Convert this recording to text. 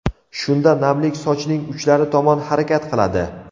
Shunda namlik sochning uchlari tomon harakat qiladi.